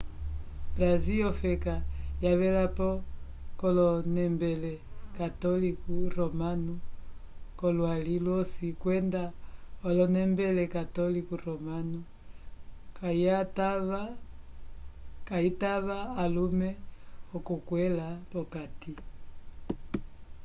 brasil ofeka yavelapo yonembele católico romano k'olwali lwosi kwenda onembele católico romano kayitava alume okulikwẽla p'okati